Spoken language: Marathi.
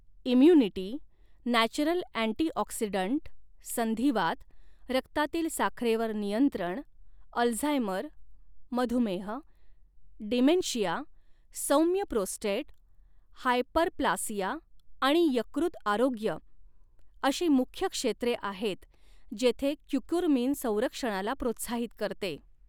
इम्युनिटी, नॅचरल अँटिऑक्सिडंट, संधिवात, रक्तातील साखरेवर नियंत्रण, अल्झायमर, मधुमेह, डिमेन्शिया, सौम्य प्रोस्टेट, हायपरप्लासिया आणि यकृत आरोग्य अशी मुख्य क्षेत्रे आहेत जेथे क्युकुरमिन संरक्षणाला प्रोत्साहित करते.